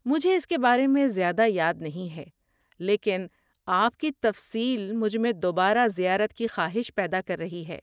مجھے اس کے بارے میں زیادہ یاد نہیں ہے، لیکن آپ کی تفصیل مجھ میں دوبارہ زیارت کی خواہش پیدا کر رہی ہے۔